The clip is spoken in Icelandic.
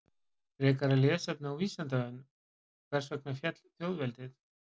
Frekara lesefni á Vísindavefnum: Hvers vegna féll þjóðveldið?